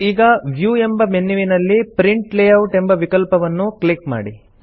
ಈಗ ವ್ಯೂ ಎಂಬ ಮೆನ್ಯುವಿನಲ್ಲಿ ಪ್ರಿಂಟ್ ಲೇಯೌಟ್ ಎಂಬ ವಿಕಲ್ಪವನ್ನು ಕ್ಲಿಕ್ ಮಾಡಿ